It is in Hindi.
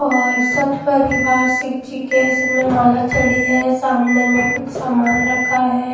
और सब परिवार शिव जी के सब में माला चढ़ी है सामने में कुछ सामान रखा है।